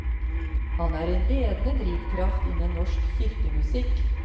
Han er en ledende drivkraft innen norsk kirkemusikk.